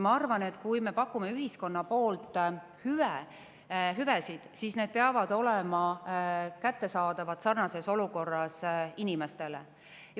Ma arvan, et kui me pakume ühiskonna poolt hüvesid, siis need peavad olema kättesaadavad üksteisega sarnases olukorras olevatele inimestele.